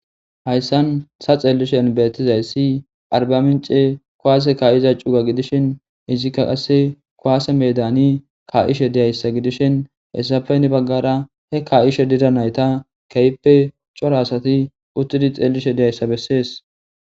Hayssan sa xeellishe elbetizayssi arba mince koaase kaa7iza cuga gidishin izikka qasse koaase medani ka7ishe diyayssa gidishin hessapeyne baggara he ka7ishe dira nayta keyppe cora asati uttidi xeellishe diyayssa bessees.